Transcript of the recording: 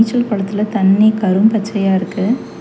சில் கொளத்துல தண்ணி கரும் பச்சையா இருக்கு.